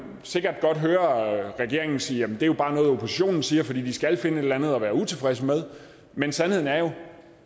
sikkert godt høre regeringen sige jamen det er jo bare noget oppositionen siger fordi de skal finde et eller andet at være utilfredse med men sandheden er jo